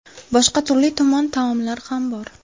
Boshqa turli-tuman taomlar ham bor.